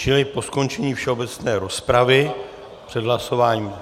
Čili po skončení všeobecné rozpravy před hlasováním.